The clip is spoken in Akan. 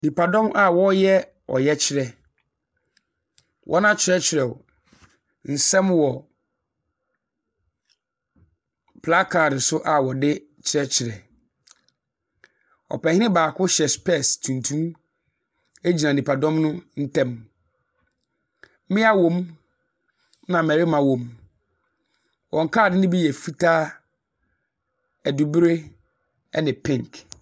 Nipadɔm a ɔreyɛ ɔyɛkyerɛ na wɔn atweretwerɛw nsɛm wɔ placard so a wɔde kyerɛkyerɛ. Ɔpanyin baako hyɛ spɛs tuntum egyina nipadɔm no mu ntɛm. Mmia wo mu na mmarima wo mu. Wɔn card no bi yɛ fitaa, ɛdubre ɛne pink.